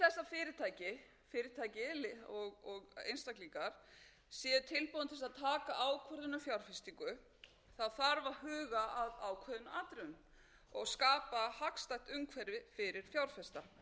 fyrirtæki fyrirtæki og einstaklingar séu tilbúin til að taka ákvörðun um fjárfestingu þarf að huga að ákveðnum atriðum og skapa hagstætt umhverfi fyrir fjárfesta maður hefur heyrt það